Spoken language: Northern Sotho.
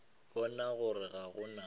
bona gore ga go na